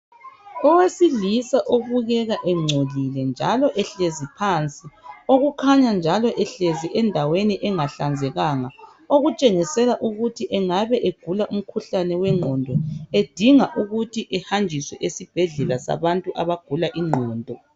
Owesilisa obukeka engcolile njalo ehlezi phansi okukhanya njalo ehlezi endaweni engahlanzekanga, okutshengisela ukuthi engaba egula umkhuhlane wengqondo edinga ukuthi ehanjiswe esibhedlela sabantu abagula ingqondo.